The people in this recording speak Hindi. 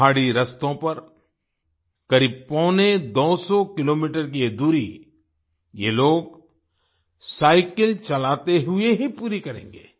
पहाड़ी रास्तों पर करीब पौने दो सौ किलोमीटर की ये दूरी ये लोग साइकिल चलाते हुए ही पूरी करेंगे